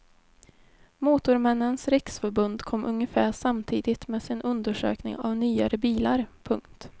Motormännens riksförbund kom ungefär samtidigt med sin undersökning av nyare bilar. punkt